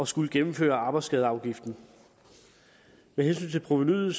skulle gennemføre arbejdsskadeafgiften med hensyn til provenuet